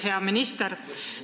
Hea minister!